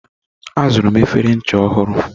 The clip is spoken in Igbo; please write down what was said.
Azụrụ m efere ncha ọhụrụ.